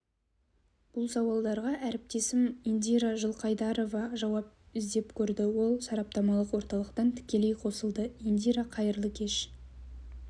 бұл сауалдарға әріптесім индира жылқайдарова жауап іздеп көрді ол сараптамалық орталықтан тікелей қосылды индира қайырлы кеш